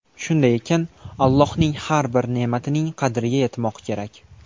Shunday ekan, Allohning har bir ne’matining qadriga yetmoq kerak.